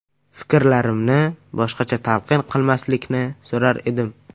Fikrlarimni boshqacha talqin qilmaslikni so‘rar edim.